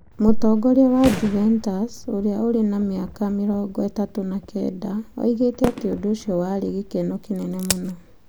Mũtongoria wa Juventus ũrĩa ũrĩ na mĩaka 39 oigire atĩ ũndũ ũcio warĩ gĩkeno kĩnene mũno.